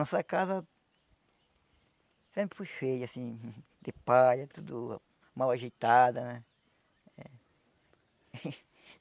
Nossa casa sempre foi feia, assim, de palha, tudo mal ajeitada, né?